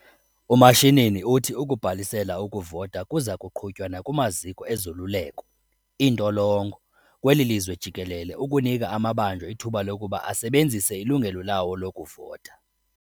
UMashinini uthi ukubhalisela ukuvota kuzakuqhutywa nakumaziko ezoluleko, iintolongo, kweli lizwe jikelele ukunika amabanjwa ithuba lokuba asebenzise ilungelo lawo lokuvota.